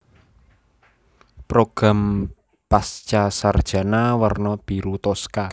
Program Pascasarjana werna biru toska